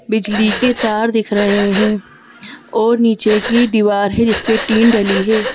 बिजली के तार दिख रहे हैं और नीचे की दीवार है जिस पे टीन डली है।